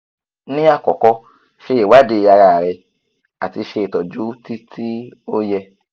ni akọkọ ṣe iwadii ararẹ ati se itọju ti ti o yẹ